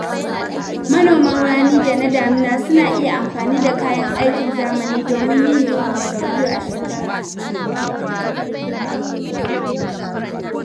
Manoman rani da na damina suna iya amfani da kayan aikin zamani domin yin girbi sau biyu a shekara.